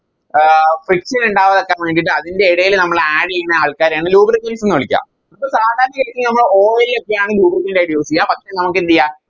ആഹ് friction ഇണ്ടാവാതിരിക്കാൻ വേണ്ടിറ്റ് അതിൻറെ എടേല് നമ്മള് Add ചെയ്യുന്ന ആൾക്കാരെയാണ് Lubricants ന്ന് വിളിക്ക ഇപ്പൊ സാധാരണ രീതില് നമ്മള് Oil ഒക്കെയാണ് Lubricant ആയിട്ട് Use ചെയ്യാ പക്ഷെ നമുക്കെന്തെയ്യ